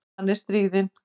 Hann er stríðinn.